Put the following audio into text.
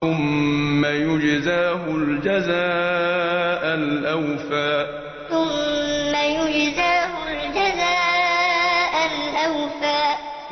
ثُمَّ يُجْزَاهُ الْجَزَاءَ الْأَوْفَىٰ ثُمَّ يُجْزَاهُ الْجَزَاءَ الْأَوْفَىٰ